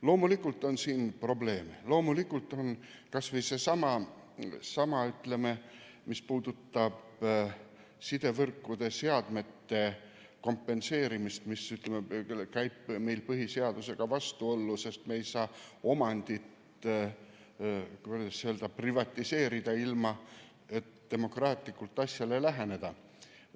Loomulikult on siin probleeme, kas või seesama, mis puudutab sidevõrkude seadmete kompenseerimist, sest see läheb meie põhiseadusega vastuollu, kuna me ei saa omandit, kuidas öelda, privatiseerida, ilma et me demokraatlikult asjale läheneksime.